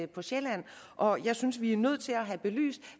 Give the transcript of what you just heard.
på sjælland og jeg synes vi er nødt til have belyst